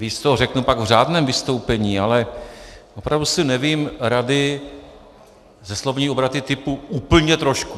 Víc toho řeknu pak v řádném vystoupení, ale opravdu si nevím rady se slovními obraty typu "úplně trošku".